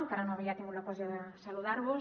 encara no havia tingut l’ocasió de saludar vos